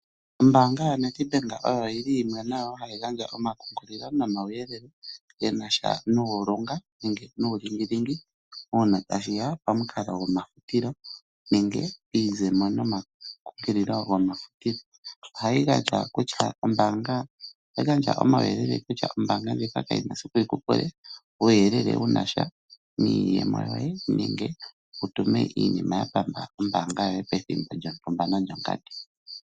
Ombaanga yaNedbank ohayi gandja omakumagidho nomauyelele ge na sha nuulunga nenge nuulingilingi uuna tashi ya pamukalo gomahupilo nenge piizemo nomakumagidho gomahupilo. Ohayi gandja omauyelele kutya ombaanga ndjika kayi na esiku yi ku pule uuyelele wu na sha niiyemo yoye nege wu tume iinima ya pamba ombaanga yoye pethimbo lyontumba nonlyongandi.